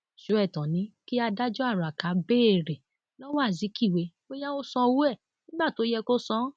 sọẹtàn ni kí adájọ araka béèrè lọwọ azikiwe bóyá ó sanwó ẹ nígbà tó yẹ kó san án